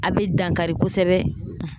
A be dankari kosɛbɛ